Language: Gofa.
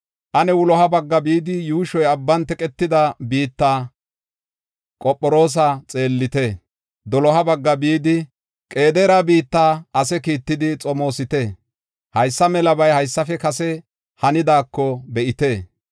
Ane wuloha bagga bidi, yuushoy abban teqetida biitta Qophiroosa xeellite; doloha bagga bidi Qedaare biitta ase kiittidi xomoosite. Haysa melabay haysafe kase hanidaako be7ite.